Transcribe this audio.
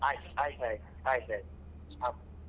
ಆಯ್ತ್ ಆಯ್ತ್ ಆಯ್ತ್ ಆಯ್ತ್ ಆಯ್ತ್ ಹ.